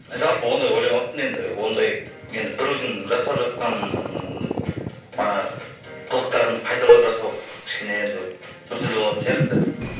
жалпы ондай ойламаппын енді ондай енді біреудің жасап жатқан манағы қылықтарын қайталап жасау кішкене енді біртүрлі болатын сияқты